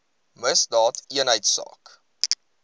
misdaadeenheidsaak